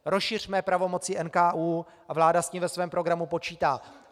Rozšiřme pravomoci NKÚ a vláda s tím ve svém programu počítá.